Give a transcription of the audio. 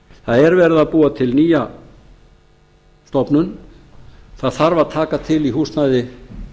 það er verið að búa til nýja stofnun það þarf að taka til í húsnæði